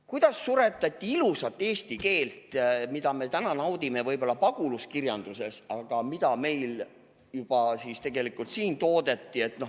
Kuidas suretati ilusat eesti keelt, mida me täna naudime võib-olla pagulaskirjanduses, aga mida meil juba siis tegelikult siin toodeti.